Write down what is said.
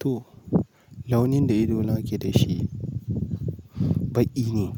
To, launin da ido nake da shi baƙi ne.